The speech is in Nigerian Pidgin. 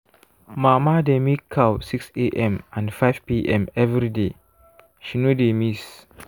mama dey milk cow 6am and 5pm every day she no dey miss.